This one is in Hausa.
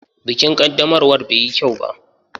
Bikin ƙaddamarwa bai yi kyau ba.